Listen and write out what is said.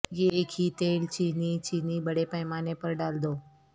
یہ ایک ہی تیل چینی چینی بڑے پیمانے پر ڈال دو